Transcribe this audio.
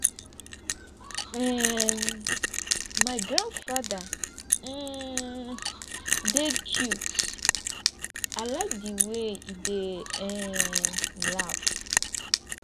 um my grandfather um dey cute i like the way e dey um laugh